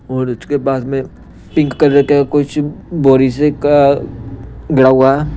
और उसके बाद में पिंक कलर का कुछ बोरी से का गड़ा हुआ है।